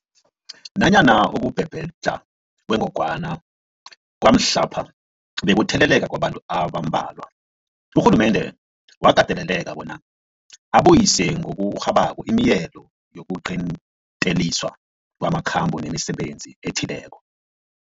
Nanyana ukubhebhedlha kwengogwana kwamhlapha bekukutheleleka kwabantu abambalwa, urhulumende wakateleleka bona abuyise ngokurhabako imileyo yokuqinteliswa kwamakhambo nemisebenzi ethileko.